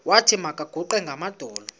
wathi makaguqe ngamadolo